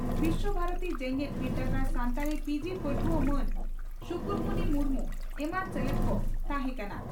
ᱵᱤᱥᱥᱚ ᱵᱷᱟᱨᱚᱛᱤ ᱡᱮᱜᱮᱛ ᱵᱤᱨᱫᱟᱹᱜᱟᱲ ᱥᱟᱱᱛᱟᱲᱤ ᱯᱤᱹᱡᱤᱹ ᱯᱟᱹᱴᱷᱩᱣᱟᱹ ᱢᱟᱱ ᱥᱩᱨᱩᱠᱩᱱᱤ ᱢᱩᱨᱢᱩ ᱮᱢᱟᱱ ᱥᱮᱞᱮᱫ ᱠᱚ ᱛᱟᱦᱮᱸ ᱠᱟᱱᱟ ᱾